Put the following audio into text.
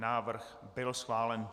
Návrh byl schválen.